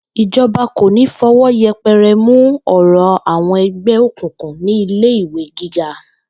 Ìjo̩ba kò ní fo̩wó̩ ye̩pe̩re̩ mu ò̩rò̩ àwo̩n e̩gbé òkùnkùn ní ilé ìwé gíga